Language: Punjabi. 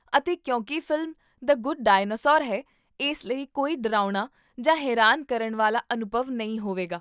ਅਤੇ ਕਿਉਂਕਿ ਫ਼ਿਲਮ 'ਦ ਗੁੱਡ ਡਾਇਨਾਸੋਰ' ਹੈ, ਇਸ ਲਈ ਕੋਈ ਡਰਾਉਣਾ ਜਾਂ ਹੈਰਾਨ ਕਰਨ ਵਾਲਾ ਅਨੁਭਵ ਨਹੀਂ ਹੋਵੇਗਾ